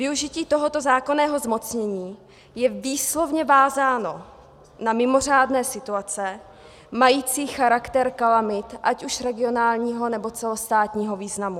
Využití tohoto zákonného zmocnění je výslovně vázáno na mimořádné situace mající charakter kalamit ať už regionálního, nebo celostátního významu.